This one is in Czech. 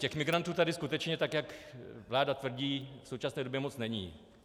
Těch migrantů tady skutečně, tak jak vláda tvrdí, v současné době moc není.